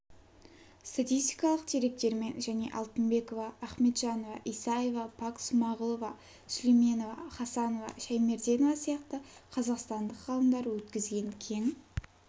статистикалық деректермен және алтынбекова ахметжанова исаева пак смағұлова сүлейменова хасанова шаймерденова сияқты қазақстандық ғалымдар өткізген кең